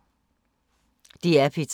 DR P3